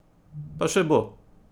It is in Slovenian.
Pa še bo!